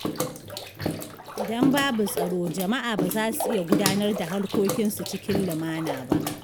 Idan babu tsaro, jama’a ba za su iya gudanar da harkokinsu cikin lumana ba.